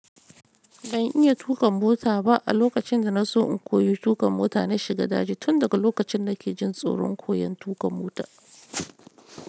Ban iya tuƙa mota ba. A lokacin da na so in koyi tuƙa mota, na shiga daji. Tun daga lokacin na ke jin tsoron koyan tuƙa mota.